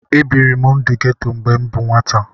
Ebiri m ndụ geto mgbe m bụ nwata